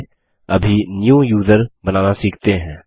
चलिए अभी new user बनाना सीखते हैं